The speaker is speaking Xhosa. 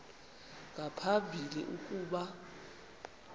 nga phambili ukuba